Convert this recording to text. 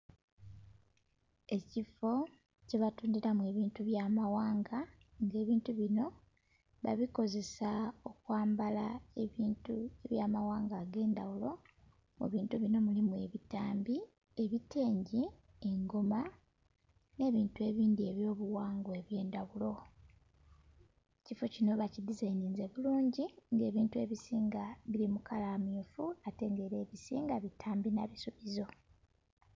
Ekiffo kye batundhiramu ebintu by'amaghanga nga ebintu binho babikozesa okwambala ebintu by'amaghanga ag'endhaghulo. Mu bintu binho mulimu ebitambi, ebitengi, engoma nh'ebintu ebindhi eby'obughangwa eby'endhaghulo. Ekiffo kinho bakidizaininze bulungi nga ebintu ebisinga bili mu kala mmyufu ate nga era ebisinga bitambi nha bisibizo.